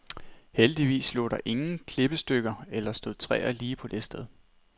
Heldigvis lå der ingen klippestykker eller stod træer lige på det sted.